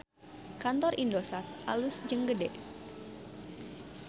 Kantor Indosat alus jeung gede